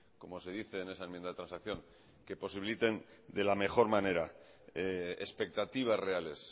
como se dice en esa enmienda de transacción que posibiliten de la mejor manera expectativas reales